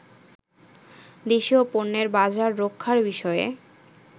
দেশীয় পন্যের বাজার রক্ষার বিষয়ে